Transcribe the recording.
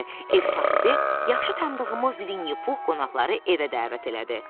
Ev sahibi yaxşı tanıdığımız Vinni Pux qonaqları evə dəvət elədi.